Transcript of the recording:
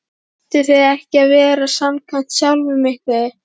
Ættuð þið ekki að vera samkvæm sjálf ykkur?